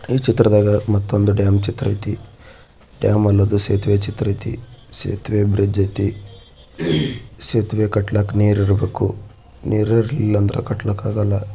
ಈ ಚಿತ್ರದಾಗೆ ಮತ್ತೊಂದು ಡ್ಯಾಮ್ ಚಿತ್ರ ಐತೆ ಡ್ಯಾಮ್ ಅನ್ನೋದು ಸೇತುವೆ ಚಿತ್ರ ಇದೆ ಸೇತುವೆ ಕಟ್ಟಕ್ ನೀರಿರಬೇಕು ನೀರಿಲ್ಲ ಅಂದ್ರೆ ಕಟ್ಟಕ್ಕಾಗಲ್ಲ.